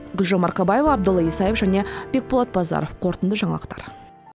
гүлжан марқабаева абдолла исаев және бекболат базаров қорытынды жаңалықтар